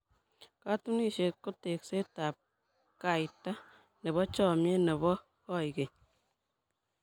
Katunisyet ko tekseetab kaita nebo chomnyet nebo koikeny.